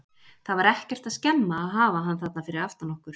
Það var ekkert að skemma að hafa hann þarna fyrir aftan okkur.